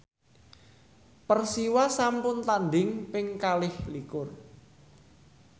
Persiwa sampun tandhing ping kalih likur